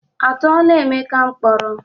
A tụọla Emeka mkpọrọ?